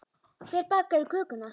Hver bakaði kökuna?